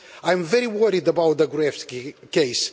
I am very worried about the Gruevski case.